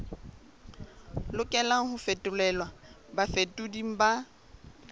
lokelang ho fetolelwa bafetoleding ba